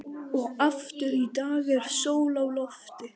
Og aftur í dag er sól á lofti.